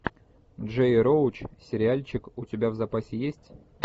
джей роуч сериальчик у тебя в запасе есть